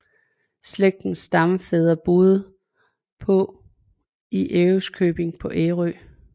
Slægtens stamfædre boede på i Ærøskøbing på Ærø